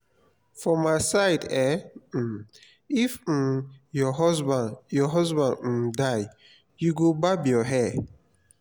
for my side eh um if um your husband your husband um die you go barb your hair